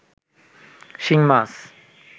শিং মাছ